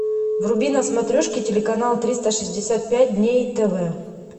вруби на смотрешке телеканал триста шестьдесят пять дней тв